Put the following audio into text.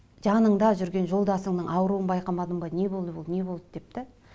жаныңда жүрген жолдасыңның ауруын байқамадың ба не болды бұл не болды деп те